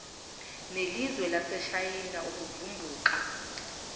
nelizwe laseshayina ukuvumbuka